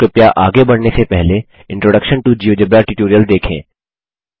तो कृपया आगे बढ़ने से पहले इंट्रोडक्शन टो जियोजेब्रा ट्यूटोरियल देखें